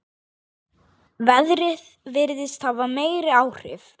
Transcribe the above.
Veðrið virðist hafa meiri áhrif.